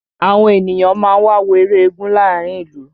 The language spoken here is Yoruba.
Àwọn ènìyàn máa ń wà ń wo eré eégún ní àárín ìlú